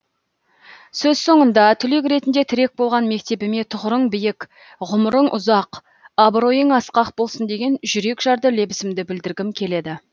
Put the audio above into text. сөз соңында түлек ретінде тірек болған мектебіме тұғырың биік ғұмырың ұзақ абыройың асқақ болсын деген жүрекжарды лебізімді білдіргім келеді